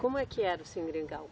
Como é que era o Seringal?